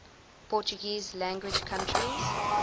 portuguese language countries